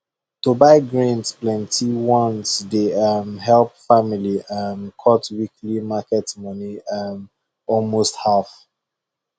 to buy grains plenty once dey um help family um cut weekly market money um almost half